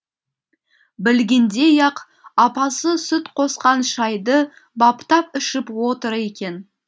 білгендей ақ апасы сүт қосқан шайды баптап ішіп отыр екен